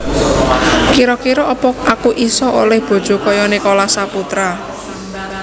Kiro kiro opo aku iso oleh bojo koyok Nicholas Saputra?